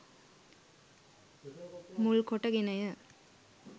මුල් කොට ගෙන ය.